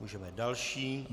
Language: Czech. Můžeme další.